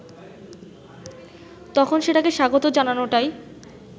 তখন সেটাকে স্বাগত জানানোটাই